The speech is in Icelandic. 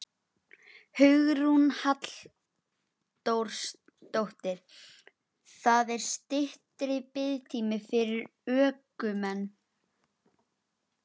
Hugrún Halldórsdóttir: Það er styttri biðtími fyrir ökumenn?